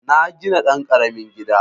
Na gina ɗan ƙaramin gida